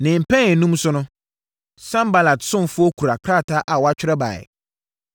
Ne mpɛn enum so no, Sanbalat ɔsomfoɔ kura krataa a wɔatwerɛ baeɛ.